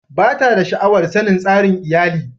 Ba ta da sha'awar sanin tsarin iyalin.